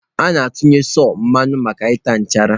A na-atụnye sọ mmanụ maka ịta nchara.